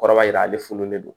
Kɔrɔ b'a jira ale fununen don